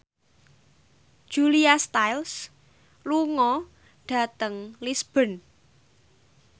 Julia Stiles lunga dhateng Lisburn